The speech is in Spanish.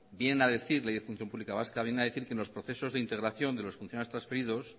viene a decir que en los procesos de integración de los funcionarios transferidos